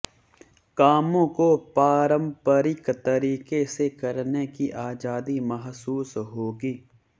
कामों को पारंपरिक तरीके से करने की आजादी महसूस होगी